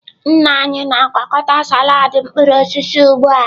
Nna anyị na-agwakọta salad mkpụrụ osisi ugbu a.